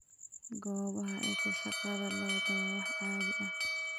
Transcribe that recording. Goobaha dhirta, dhaqashada lo'du waa wax caadi ah.